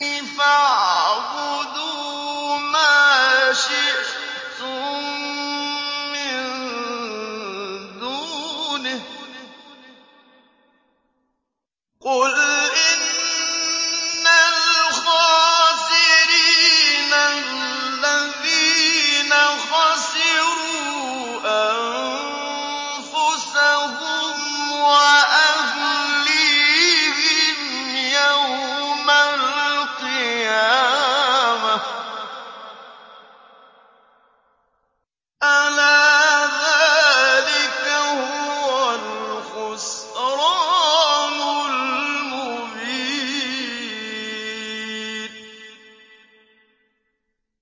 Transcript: فَاعْبُدُوا مَا شِئْتُم مِّن دُونِهِ ۗ قُلْ إِنَّ الْخَاسِرِينَ الَّذِينَ خَسِرُوا أَنفُسَهُمْ وَأَهْلِيهِمْ يَوْمَ الْقِيَامَةِ ۗ أَلَا ذَٰلِكَ هُوَ الْخُسْرَانُ الْمُبِينُ